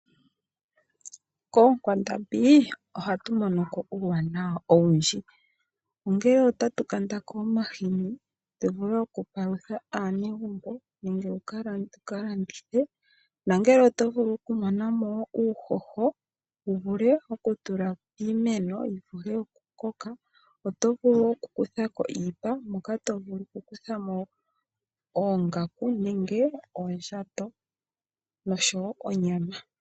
Koonkwandambi ohatu mono ko uuwanawa owundji, ongele otatu kanda mo omahini tu vule okupalutha aanegumbo nenge oku ka landithe. Oto vulu wo okumona ko uuhoho wu tule piimeno yi vule okukoka, oto vulu okukutha ko iipa moka to vulu okukutha mo oongaku nosho oondjato noshowo onyama.